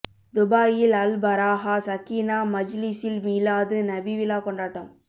துபாயில் அல் பராஹா சக்கீனா மஜ்லிஸில் மீலாது நபி விழா கொண்டாட்டம்